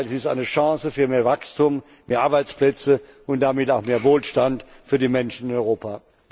Im Gegenteil Sie ist eine Chance für mehr Wachstum, mehr Arbeitsplätze und damit auch mehr Wohlstand für die Menschen in Europa.